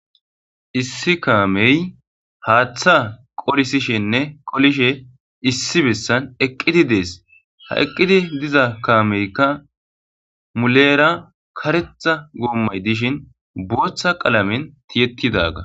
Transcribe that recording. Issi kaamey haaththa qolisishenne qolishe issi bessan eqqidi dees. ha eqqidi diza kaameykka muleera karetha goommay dishin booththa qalamen tiyettidaga.